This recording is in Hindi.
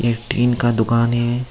यह टीन का दुकान है।